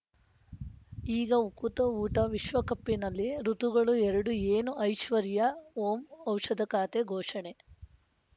ಈಗ ಉಕುತ ಊಟ ವಿಶ್ವಕಪಿನಲ್ಲಿ ಋತುಗಳು ಎರಡು ಏನು ಐಶ್ವರ್ಯಾ ಓಂ ಔಷಧ ಖಾತೆ ಘೋಷಣೆ